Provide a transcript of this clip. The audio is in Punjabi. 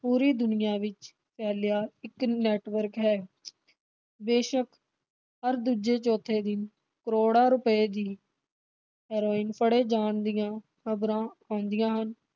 ਪੂਰੀ ਦੁਨੀਆਂ ਵਿਚ ਫੈਲਿਆਂ ਇਕ network ਹੈ। ਬੇਸ਼ਕ ਹਰ ਦੂਜੇ ਚੌਥੇ ਦਿਨ ਕਰੋੜਾਂ ਰੁਪਏ ਦੀ ਹੀਰੋਇਨ ਫੜੇ ਜਾਣ ਦੀਆਂ ਖਬਰਾਂ ਆਉਂਦੀਆਂ ਹਨ।